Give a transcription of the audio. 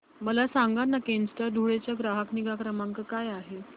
मला सांगाना केनस्टार धुळे चा ग्राहक निगा क्रमांक काय आहे